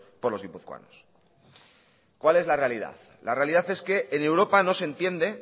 por los guipuzcoanos cuál es la realidad la realidad es que en europa no se entiende